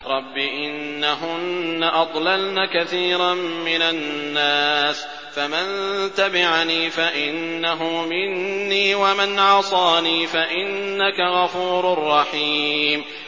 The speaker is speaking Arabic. رَبِّ إِنَّهُنَّ أَضْلَلْنَ كَثِيرًا مِّنَ النَّاسِ ۖ فَمَن تَبِعَنِي فَإِنَّهُ مِنِّي ۖ وَمَنْ عَصَانِي فَإِنَّكَ غَفُورٌ رَّحِيمٌ